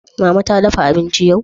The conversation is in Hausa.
Mama ta dafa abinci yau?